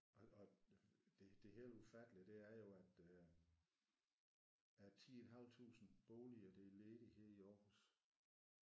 Og og det det helt ufattelige det er jo at øh at 10 et halvt tusind boliger der er ledige her i Aarhus